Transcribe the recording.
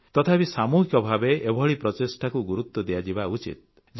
ତଥାପି ସାମୁହିକ ଭାବେ ଏଭଳି ପ୍ରଚେଷ୍ଟାକୁ ଗୁରୁତ୍ୱ ଦିଆଯିବା ଉଚିତ୍